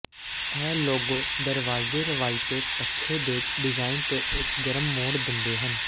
ਇਹ ਲੋਗੋ ਦਰਵਾਜ਼ੇ ਰਵਾਇਤੀ ਭੱਛੇ ਦੇ ਡਿਜ਼ਾਇਨ ਤੇ ਇੱਕ ਗਰਮ ਮੋੜ ਦਿੰਦੇ ਹਨ